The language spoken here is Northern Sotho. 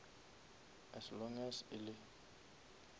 as long as e le